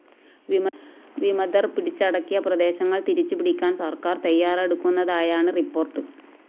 വിമതര്‍ പിടിച്ചടക്കിയ പ്രദേശങ്ങള്‍ തിരിച്ചു പിടിക്കാന്‍ സര്‍ക്കാര്‍ തയ്യാറെടുക്കുന്നതായാണ് റിപ്പോർട്ട്‌